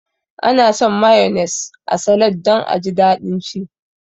Ana sa mayones a salad don aji daɗin ci